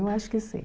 Eu acho que sim.